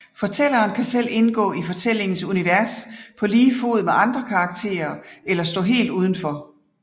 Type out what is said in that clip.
Fortælleren kan selv indgå i fortællingens univers på lige fod med andre karakterer eller stå helt uden for